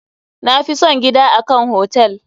Na fi son gida a kan hotel.